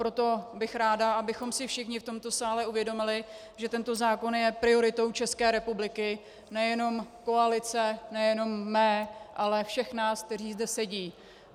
Proto bych ráda, abychom si všichni v tomto sále uvědomili, že tento zákon je prioritou České republiky, nejenom koalice, nejenom mé, ale nás všech, kteří zde sedí.